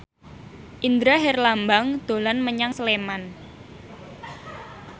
Indra Herlambang dolan menyang Sleman